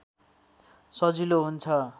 सजिलो हुन्छ